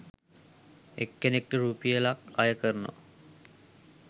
එක්කෙනෙක්ට රුපියල්ක් අය කරනවා